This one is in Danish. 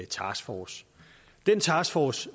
taskforce den taskforce